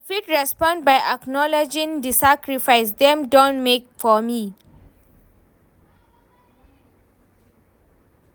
i fit respond by acknowledging di sacrifices dem don make for me.